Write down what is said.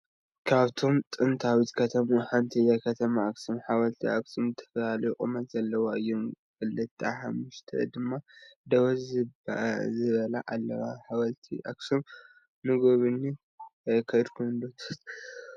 ካብቶም ጥንታዊት ከተማ ሓንቲ እያ ከተማ ኣክሱም ።ሓወልቲ ኣክሱም ዝተፈላለዩ ቁመት ዘለዎም እዮም። ክልተሓሙሽተ ድማ ደው ዝበላ አላዋ ።ሓወልቲ ኣክሱም ንጉብኝት ከይድኩም ዶ ትፈልጡ?